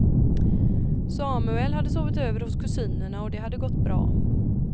Samuel hade sovit över hos kusinerna och det hade gått bra.